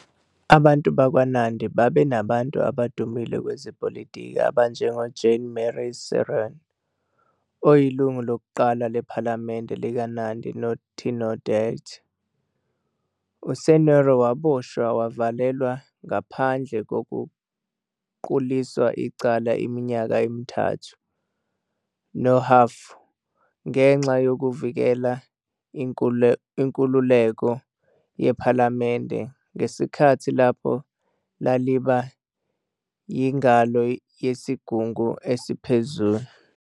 Abantu bakwaNandi babe nabantu abadumile kwezepolitiki abanjengoJean-Marie Seroney, oyilungu lokuqala lePhalamende likaNandi noTindiret. USeroney waboshwa wavalelwa ngaphandle kokuquliswa icala iminyaka emithathu nohhafu ngenxa yokuvikela inkululeko yePhalamende ngesikhathi lapho laliba yingalo yeSigungu Esiphezulu.